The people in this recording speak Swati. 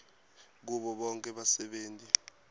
kubo bonkhe basebenti